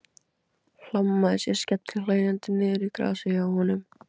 Hlammaði sér skellihlæjandi niður í grasið hjá honum.